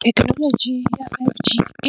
Thekenoloji ya